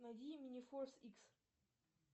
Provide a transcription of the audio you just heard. найди мне форс икс